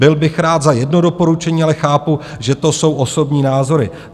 Byl bych rád za jedno doporučení, ale chápu, že to jsou osobní názory.